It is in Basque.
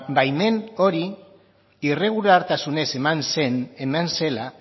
baimen hori irregulartasunez eman zela